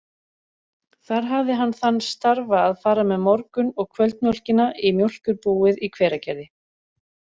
Þar hafði hann þann starfa að fara með morgun- og kvöldmjólkina í mjólkurbúið í Hveragerði.